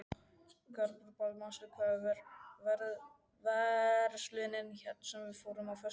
Garibaldi, manstu hvað verslunin hét sem við fórum í á föstudaginn?